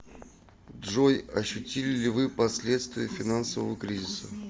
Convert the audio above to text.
джой ощутили ли вы последствия финансового кризиса